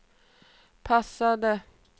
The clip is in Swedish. passade